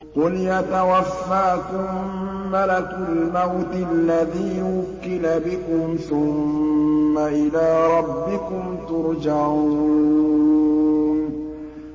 ۞ قُلْ يَتَوَفَّاكُم مَّلَكُ الْمَوْتِ الَّذِي وُكِّلَ بِكُمْ ثُمَّ إِلَىٰ رَبِّكُمْ تُرْجَعُونَ